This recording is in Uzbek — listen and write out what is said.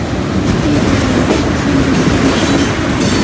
Steykni tayyorlash oson bo‘lib ko‘rinishi mumkin.